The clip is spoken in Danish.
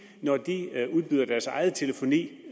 sender deres egen telefoni